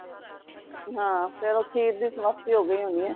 ਹਾਂ ਫੇਰ ਉਹ ਖੀਰ ਦੀ ਸਮਾਪਤੀ ਹੋ ਗਯੀ ਹੋਣੀਏ